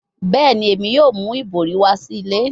Bẹẹni, Emi yoo mu ibori wa si ile